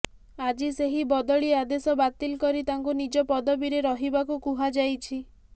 ଆଜି ସେହି ବଦଳି ଆଦେଶ ବାତିଲ କରି ତାଙ୍କୁ ନିଜ ପଦବିରେ ରହିବାକୁ କୁହାଯାଇଛି